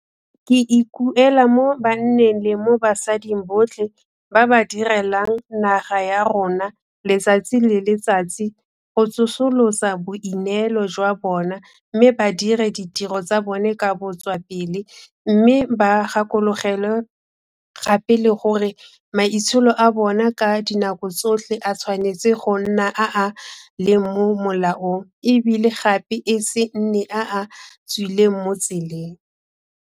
Ke ikuela mo banneng le mo basading botlhe ba ba direlang naga ya rona letsatsi le letsatsi go tsosolosa boineelo jwa bona mme ba dire ditiro tsa bona ka botswapele, mme ba gakologelwe gape le gore maitsholo a bona ka dinako tsotlhe a tshwanetse go nna a a leng mo molaong e bile gape e se nne a a tswileng mo tseleng.